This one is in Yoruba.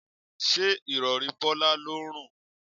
Ṣé Ìrọ̀rí Bọ́lá ló ń rùn?